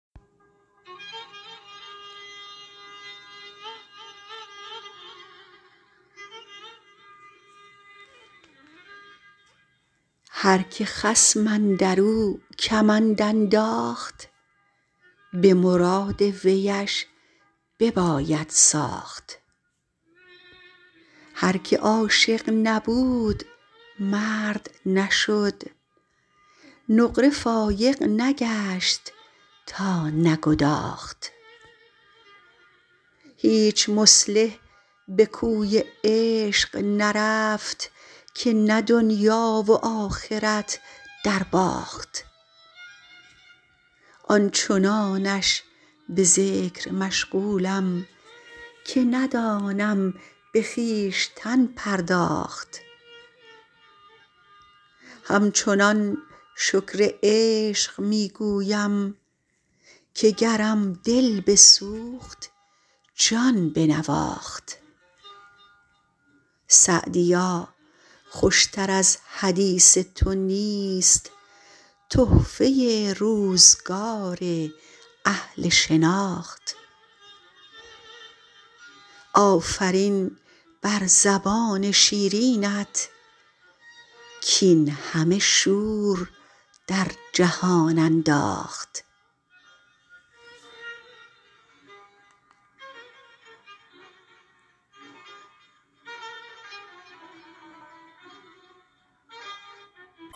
هر که خصم اندر او کمند انداخت به مراد ویش بباید ساخت هر که عاشق نبود مرد نشد نقره فایق نگشت تا نگداخت هیچ مصلح به کوی عشق نرفت که نه دنیا و آخرت درباخت آن چنانش به ذکر مشغولم که ندانم به خویشتن پرداخت همچنان شکر عشق می گویم که گرم دل بسوخت جان بنواخت سعدیا خوش تر از حدیث تو نیست تحفه روزگار اهل شناخت آفرین بر زبان شیرینت کاین همه شور در جهان انداخت